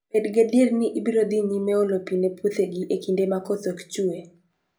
Bed gadier ni ibiro dhi nyime olo pi ne puothegi e kinde ma koth ok chue